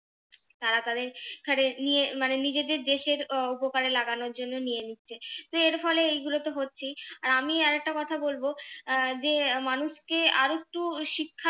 তারা তাদের নিয়ে মানে নিজেদের দেশের আহ উপকারে লাগানোর জন্য নিয়ে নিচ্ছে তো এর ফলে এইগুলো তো হচ্ছেই আর আমি আর একটা কথা বলবো আহ যে মানুষকে আরেকটু শিক্ষার